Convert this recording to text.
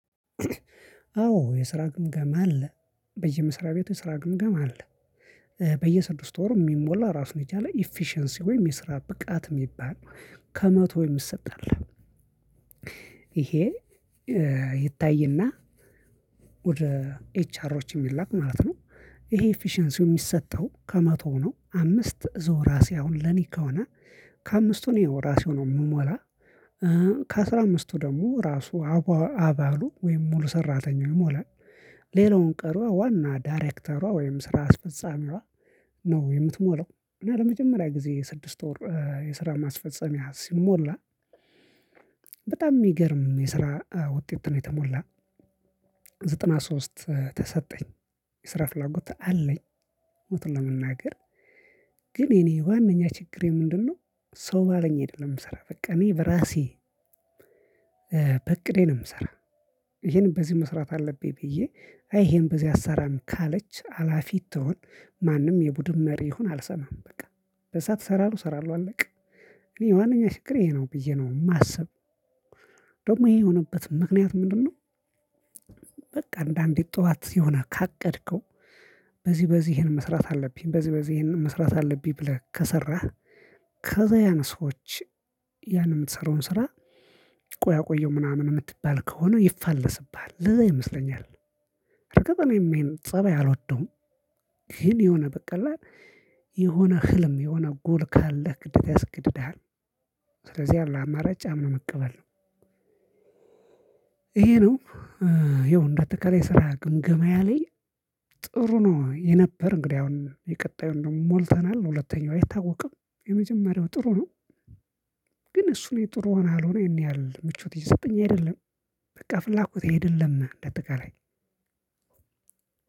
አዎ የስራ ግምገማ አለ በየመስሪያቤቱ ስራ ግምገማ አለ። በየስድስት ወሩ እሚሞላ ራሱን የቻለ ኢፊሸንሲ ወይም የስራ ብቃት እሚባል ነው ከመቶ የሚሰጥ አለ። ይሄ ይታይና ወደ ኤች አሮች እሚላክ ማለት ነው። ይሄ ኢፊሸንሲው እሚሰጠው ከመቶ ነው አምስት እዛው ራሴ አሁን ለኔ ከሆነ ከአምስቱ እኔ እራሴው ነው የምሞላ። ከአስራ አምስቱ ደሞ ራሱ አባሉ ወይም ሙሉ ሰራተኛው ይሞላል። ሌላውን ቀሪዋ ዋና ዳይሬክተሯ ወይም ስራ አስፈጻሚዋ ነው የምትሞላው። እና ለመጀመሪያ ጊዜ ስድስት ወር የስራ ማስፈጸሚያ ሲሞላ። በጣም እሚገርም የስራ ውጤት ነው የተሞላ። ዘጠና ሶስት ተሰጠኝ የስራ ፍላጎት አለኝ። እውነቱን ለመናገር ግን የኔ ዋነኛ ችግሬ ምንድን ነው? ሰው ባለኝ አይደለም የምሰራ በቃ እኔ በራሴ በእቅዴ ነው እምሰራ። ይሄንን በዚህ መስራት አለብኝ ብዬ አይ ይሄን በዚህ አሰራም ካለች ሀላፊ ትሆን። ማንም የቡድን መሪ ይሆን አልሰማም በቃ በሰአት እሰራለሁ እሰራለሁ አለቀ። እኔ ዋነኛ ችግሬ ይሄ ነው ብዬ ነው እማስብ። ደግሞ ይሄ የሆነበት ምክንያት ምንድን ነው? በቃ አንዳንዴ ጠዋት የሆነ ካቀድከው በዚህ በዚህ ይህን መስራት አለብኝ በዚህ በዚህ ይህን መስራት አለብኝ ብለህ ከሰራህ ከዛ ያን ሰዎች ያን እምትሰራውን ስራ ቆይ አቆየው ምናምን እምትባል ከሆነ ይፋለስብሃል ለዛ ይመስለኛል። በአጋጣሚ ይሄን ይሄን ፀባይ አልወደውም። ግን የሆነ በቃ አለ አየል የሆነ ህልም የሆነ ጎል ካለህ ግዴታ ያስገድድሃል። ከዚያ ያለህ አማራጭ አምኖ መቀበል ነው። ይሄ ነው። ያው እንዳጠቃላይ የስራ ግምገማየ ላይ ጥሩ ነው የነበር እንግዲ አሁን የቀጣዩን ደሞ ሞልተናል። ሁለተኛው አይታወቅም የመጀመሪያው ጥሩ ነው። ግን እሱ ነው ጥሩ ሆነ አልሆነ ይሄን ያህል ምቾት እየሰጠኝ አይደለም። በቃ ፍላጎቴ አይደለም እንደ አጠቃላይ